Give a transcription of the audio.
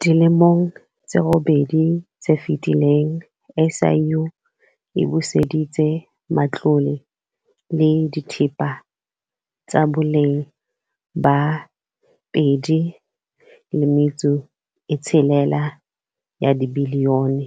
Dilemong tse robedi tse fetileng, SIU e buseditse matlole le dithepa tsa boleng ba R2.6 bilione